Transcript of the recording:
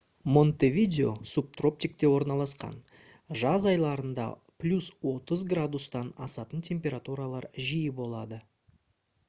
монтевидео субтропикте орналасқан; жаз айларында + 30 °c-тан асатын температуралар жиі болады